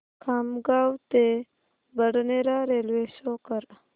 खामगाव ते Badnera railway show कर